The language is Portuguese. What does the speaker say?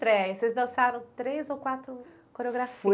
Vocês dançaram três ou quatro